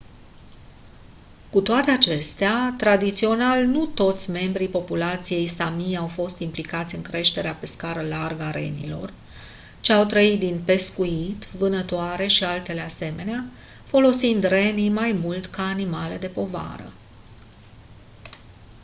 cu toate acestea tradițional nu toți membrii populației sámi au fost implicați în creșterea pe scară largă a renilor ci au trăit din pescuit vânătoare și altele asemenea folosind renii mai mult ca animale de povară